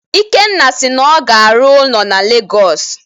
Ikenna si na ọ ga-arụ ụlọ na Legọs